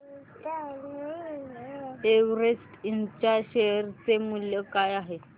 Everest Ind च्या share चे मूल्य काय आहे